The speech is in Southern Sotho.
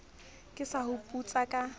ke sa o putsa ka